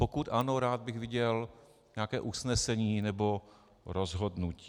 Pokud ano, rád bych viděl nějaké usnesení nebo rozhodnutí.